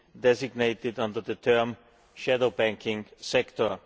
designated under the term shadow banking sector'.